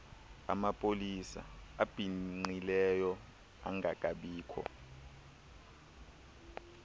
amapolisa abhinqileyo angangabikho